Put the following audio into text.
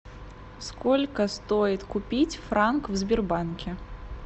сколько стоит купить франк в сбербанке